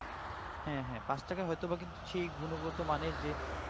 হ্যাঁ হ্যাঁ ৫ টাকা হয়তো বা কিন্তু সেই গুণগত মানের